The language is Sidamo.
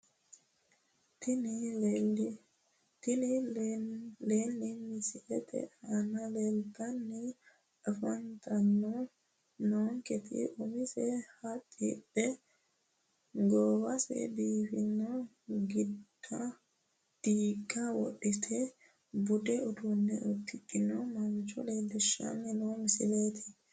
Tini leenni misilete aana leeltanni afantanni noonketi umose haxidhe goowaho biiffanno diigga wodhite budu uddano uddidhino mancho leellishshanni noo misileeti